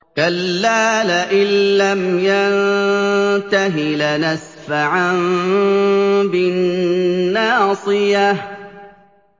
كَلَّا لَئِن لَّمْ يَنتَهِ لَنَسْفَعًا بِالنَّاصِيَةِ